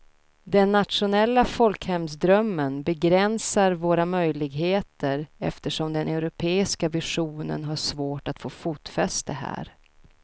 Den nationella folkhemsdrömmen begränsar våra möjligheter eftersom den europeiska visionen har svårt att få fotfäste här.